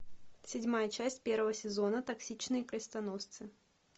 седьмая часть первого сезона токсичные крестоносцы